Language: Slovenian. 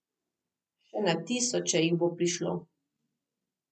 Še na tisoče jih bo prišlo.